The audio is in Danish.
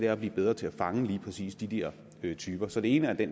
at blive bedre til at fange lige præcis de der typer så det ene er det